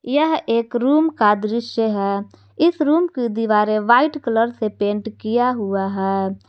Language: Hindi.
यह एक रूम का दृश्य है इस रूम की दीवारें व्हाइट कलर से पेंट किया हुआ है।